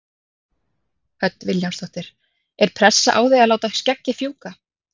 Hödd Vilhjálmsdóttir: Er pressa á þig að láta skeggið fjúka?